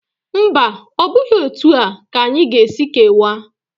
Mba, ọ bụghị etu a ka anyị ga-esi kewaa.